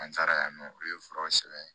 An taara yan nɔ olu ye furaw sɛbɛn